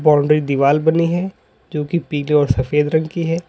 Boundary दीवाल बनी है जो की पीले और सफेद रंग की है।